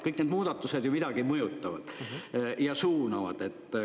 Kõik need muudatused ju midagi mõjutavad ja suunavad.